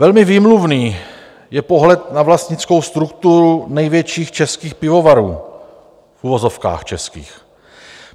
Velmi výmluvný je pohled na vlastnickou strukturu největších českých pivovarů, v uvozovkách českých.